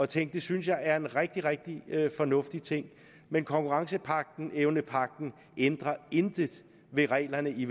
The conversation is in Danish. tænk det synes jeg er en rigtig rigtig fornuftig ting men konkurrenceevnepagten ændrer intet ved reglerne i